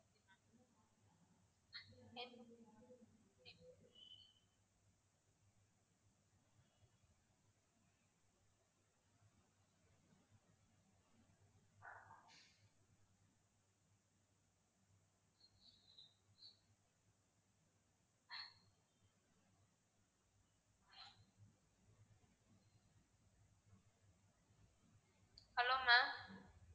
hello mam